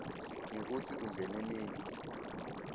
ngekutsi ungene nini